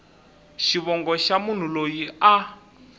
xivongo xa munhu loyi a